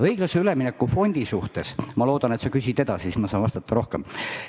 Õiglase ülemineku fondi kohta ma loodan, et sa küsid edasi, siis ma saan vastata rohkem.